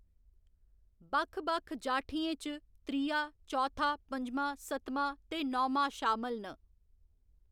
बक्ख बक्ख जाठियें च त्रिया, चौथा, पंजमां, सतमां ते नौमां शामल न।